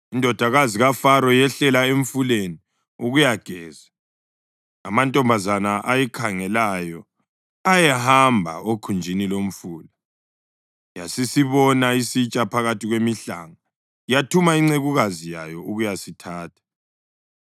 Indodakazi kaFaro yehlela emfuleni ukuyageza, amantombazana ayikhangelayo ayehamba okhunjini lomfula. Yasisibona isitsha phakathi kwemihlanga yathuma incekukazi yayo ukuyasithatha.